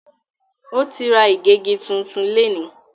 O tí ra igegi tún tún léni.